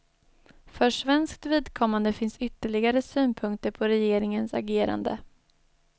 För svenskt vidkommande finns ytterligare synpunkter på regeringens agerande.